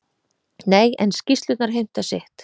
Nei, en skýrslurnar heimta sitt.